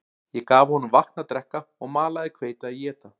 Ég gaf honum vatn að drekka og malað hveiti að éta